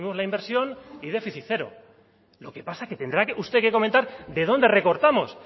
la inversión y déficit cero lo que pasa que tendrá usted que comentar de dónde recortamos